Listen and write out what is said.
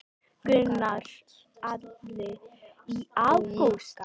Gunnar Atli: Í ágúst?